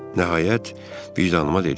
Nəhayət, vicdanıma dedim: